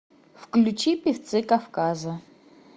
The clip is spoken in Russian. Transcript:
включи певцы кавказа